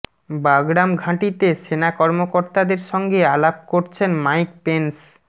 Bagram ঘাঁটিতে সেনা কর্মকর্তাদের সঙ্গে আলাপ করছেন মাইক পেন্স